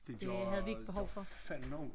Det gjorde fandme ondt